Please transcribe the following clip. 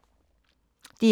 DR1